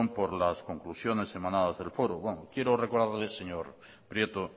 por las conclusiones emanadas del foro bueno quiero recordarle señor prieto